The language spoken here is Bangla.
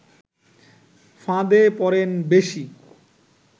ফাঁদে পড়েন বেশি